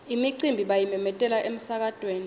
imicimbi bayimemetela emsakatweni